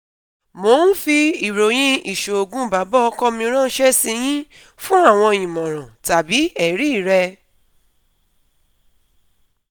Mo n fi iroyin iṣoogun baba ọkọ mi ranṣẹ si yin fun awọn imọran/ẹri rẹ